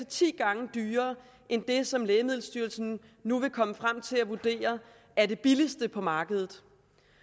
ti gange dyrere end det som lægemiddelstyrelsen nu vil komme frem til at vurdere er det billigste på markedet